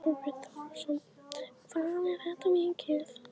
Þorbjörn Þórðarson: Hvað er þetta mikið?